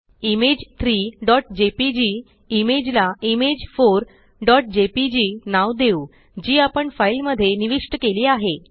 image 3जेपीजी image ला image4जेपीजी नाव देऊ जी आपण फाइल मध्ये निविष्ट केली आहे